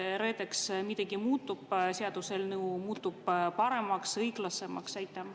Kas reedeks midagi muutub, kas seaduseelnõu muutub paremaks, õiglasemaks?